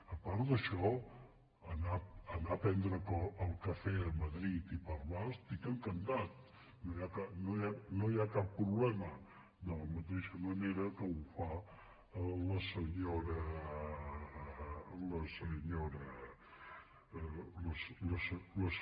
a part d’això d’anar a prendre el cafè a madrid i parlar n’estic encantat no hi ha cap proble·ma de la mateixa manera que ho fa la senyora díaz